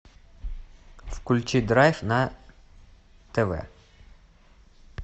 включи драйв на тв